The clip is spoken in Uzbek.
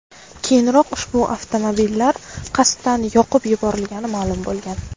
Keyinroq ushbu avtomobillar qasddan yoqib yuborilgani ma’lum bo‘lgan .